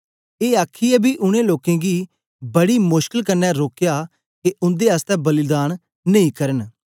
ए आखीयै बी उनै लोकें गी बड़ी मुशकल क्न्ने रोकया के उन्दे आसतै बलिदान नेई करन